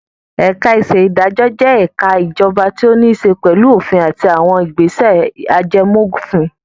Ẹ̀ka-ìṣèdájọ́ jẹ́ ẹ̀ka ìjọba tó níṣe pẹ̀lú òfin àti àwọn ìgbésẹ̀ ajẹmófin.